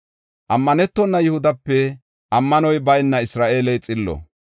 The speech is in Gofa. “Ammanetona Yihudape ammanoy bayna Isra7eeley xillo.